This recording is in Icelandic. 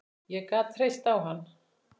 Ég gat treyst á hann.